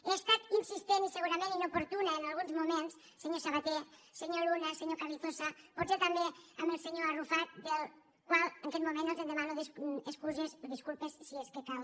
he estat insistent i segurament inoportuna en alguns moments senyor sabaté senyor luna senyor carrizosa potser també amb el senyor arrufat de la qual cosa en aquest moment els en demano excuses disculpes si és que cal